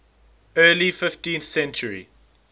early fifteenth century